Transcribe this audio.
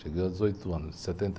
Cheguei aos dezoito anos em setenta